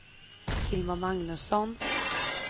Hilma Magnusson